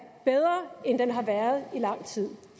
bedre end den har været i lang tid